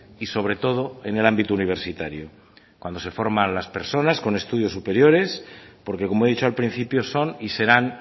y sobre todo en el ámbito universitario cuando se forman a las personas con estudios superiores porque como he dicho al principio son y serán